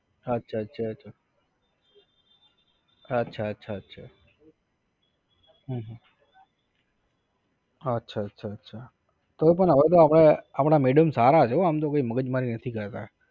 અચ્છા અચ્છા અચ્છા અચ્છા અચ્છા અચ્છા હં હ અચ્છા અચ્છા અચ્છા કોઈ પણ હવે તો આપડા આપણા madam સારા હતા કોઈ મગજમારી નથી કરતા